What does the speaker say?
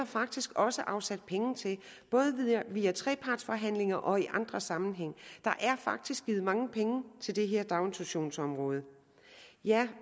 faktisk også afsat penge til både via trepartsforhandlinger og andre sammenhænge der er faktisk givet mange penge til det her daginstitutionsområde